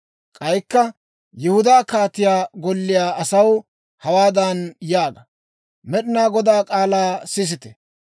K'aykka Yihudaa kaatiyaa golliyaa asaw hawaadan yaaga; Med'inaa Godaa k'aalaa sisite!